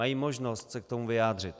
Mají možnost se k tomu vyjádřit.